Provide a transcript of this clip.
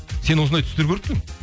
сен осындай түстер көріп пе едің